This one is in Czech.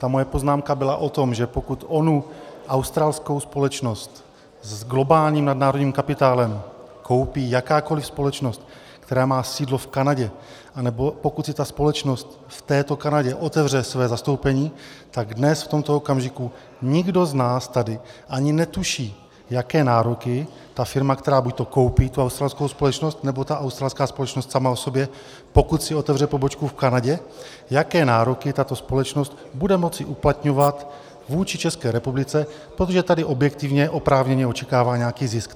Ta moje poznámka byla o tom, že pokud onu australskou společnost s globálním nadnárodním kapitálem koupí jakákoli společnost, která má sídlo v Kanadě, nebo pokud si ta společnost v této Kanadě otevře své zastoupení, tak dnes v tomto okamžiku nikdo z nás tady ani netuší, jaké nároky ta firma, která buď koupí tu australskou společnost, nebo ta australská společnost sama o sobě, pokud si otevře pobočku v Kanadě, jaké nároky tato společnost bude moci uplatňovat vůči České republice, protože tady objektivně oprávněně očekává nějaký zisk.